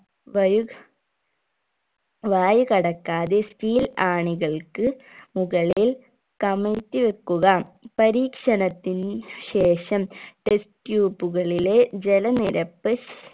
വയു വായു കടക്കാതെ steel ആണികൾക്ക് മുകളിൽ കമിഴ്ത്തി വെക്കുക പരീക്ഷണത്തിന് ശേഷം test tube കളിലെ ജല നിരപ്പ്